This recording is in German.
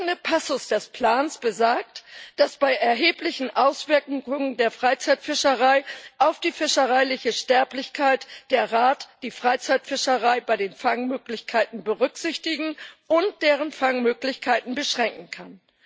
Der entsprechende Passus des Plans besagt, dass bei erheblichen Auswirkungen der Freizeitfischerei auf die fischereiliche Sterblichkeit der Rat die Freizeitfischerei bei den Fangmöglichkeiten berücksichtigen und deren Fangmöglichkeiten beschränken kann.